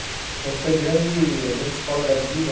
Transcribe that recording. Então, foi grande a grande escola da vida.